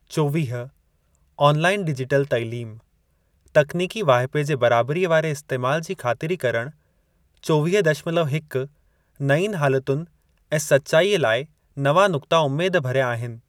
चोवीह. Online, digital तइलीम: तकनीकी वाहिपे जे बराबरीअ वारे इस्तैमाल जी ख़ातिरी करणु चोवीह दशमलव हिक नयुनि हालतुनि ऐं सचाईअ लाइ नवां नुक्ता उमेद भरिया आहिनि।